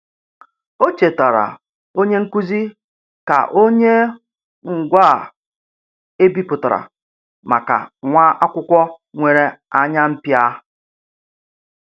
O chetaara onye nkuzi ka o nye ngwaa e bipụtara maka nwa akwụkwọ nwere anya mpia.